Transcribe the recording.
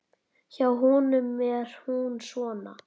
Hjá honum er hún svona